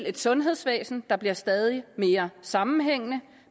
et sundhedsvæsen der bliver stadig mere sammenhængende